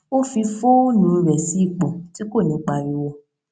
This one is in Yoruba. ó fi fóònù rẹ sí ipò tí kò ní pariwo